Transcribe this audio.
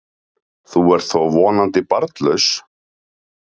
Þú ert þó vonandi barnlaus?